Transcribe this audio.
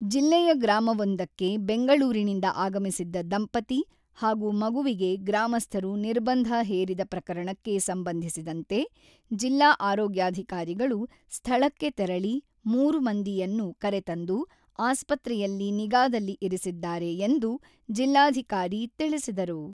ಜಿಲ್ಲೆಯ ಗ್ರಾಮವೊಂದಕ್ಕೆ ಬೆಂಗಳೂರಿನಿಂದ ಆಗಮಿಸಿದ್ದ ದಂಪತಿ ಹಾಗೂ ಮಗುವಿಗೆ ಗ್ರಾಮಸ್ಥರು ನಿರ್ಬಂಧ ಹೇರಿದ ಪ್ರಕರಣಕ್ಕೆ ಸಂಬಂಧಿಸಿದಂತೆ ಜಿಲ್ಲಾ ಆರೋಗ್ಯಾಧಿಕಾರಿಗಳು ಸ್ಥಳಕ್ಕೆ ತೆರಳಿ ಮೂರು ಮಂದಿಯನ್ನು ಕರೆತಂದು ಆಸ್ಪತ್ರೆಯಲ್ಲಿ ನಿಗಾದಲ್ಲಿ ಇರಿಸಿದ್ದಾರೆ ಎಂದು ಜಿಲ್ಲಾಧಿಕಾರಿ ತಿಳಿಸಿದರು.